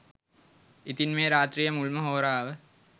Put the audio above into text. ඉතින් මේ රාත්‍රියේ මුල්ම හෝරාව